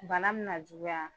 Bana me na juguya,